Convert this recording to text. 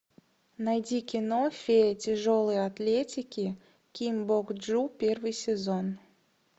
найди кино фея тяжелой атлетики ким бок чжу первый сезон